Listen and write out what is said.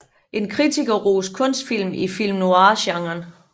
En kritikerrost kunstfilm i film noir genren